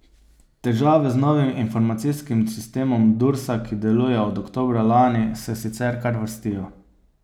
Težave z novim informacijskim sistemom Dursa, ki deluje od oktobra lani, se sicer kar vrstijo.